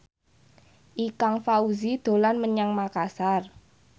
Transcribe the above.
Ikang Fawzi dolan menyang Makasar